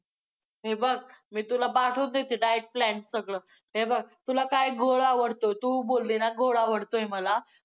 हे बघ, मी तुला पाठवतेच आहे diet plan सगळं! हे बघ, तुला काय गोड आवडतं? तू बोलली ना, गोड आवडतंय मला!